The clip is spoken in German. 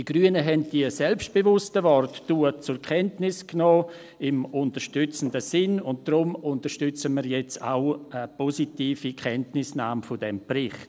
Die Grünen nahmen diese selbstbewussten Worte damals im unterstützenden Sinn zur Kenntnis, und darum unterstützen wir jetzt auch eine positive Kenntnisnahme dieses Berichts.